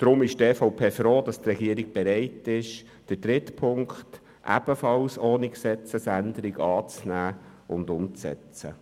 Deshalb ist die EVP froh, dass die Regierung bereit ist, den dritten Punkt ebenfalls ohne Gesetzesänderung anzunehmen und umzusetzen.